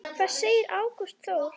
Hvað segir Ágúst Þór?